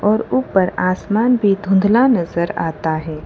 और ऊपर आसमान भी धुंधला नजर आता है।